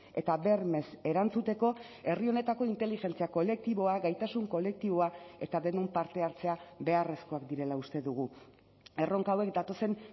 eta bermez erantzuteko herri honetako inteligentzia kolektiboa gaitasun kolektiboa eta denon parte hartzea beharrezkoak direla uste dugu erronka hauek datozen